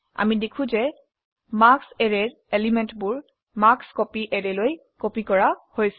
আমি দেখো যে মাৰ্কছ অ্যাৰেৰ এলিমেন্টবোৰ মাৰ্কস্কপী অ্যাৰে লৈ কপি কৰা হৈছে